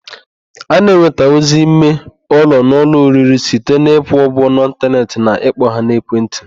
A na-enwetanwuzi ime ụlọ n'ụlọ oriri site n'ịkwụ ụgwọ n'ịntaneetị na ịkpọ ha n'ekentị.